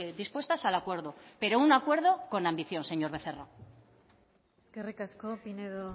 dispuestas al acuerdo pero un acuerdo con ambición señor becerra eskerrik asko pinedo